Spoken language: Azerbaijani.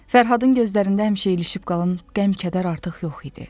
Fərhadın gözlərində həmişə ilişib qalan qəm-kədər artıq yox idi.